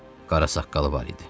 Qara saqqalı var idi.